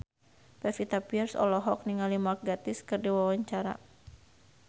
Pevita Pearce olohok ningali Mark Gatiss keur diwawancara